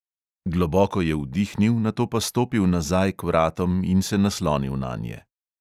Globoko je vdihnil, nato pa stopil nazaj k vratom in se naslonil nanje.